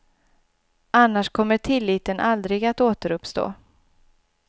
Annars kommer tilliten aldrig att återuppstå.